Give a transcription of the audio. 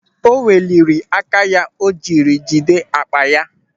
O weliri áká ya o jiri jide akpa ya.